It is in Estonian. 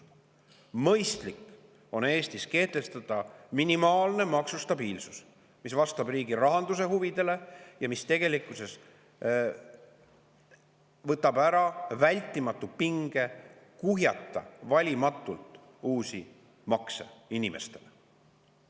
Mõistlik on Eestis kehtestada minimaalne maksustabiilsus, mis vastab riigi rahanduse huvidele ja mis tegelikkuses võtab ära vältimatu pinge kuhjata valimatult uusi makse inimestele.